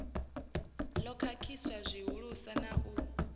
ḓo khakhisa zwihulusa na u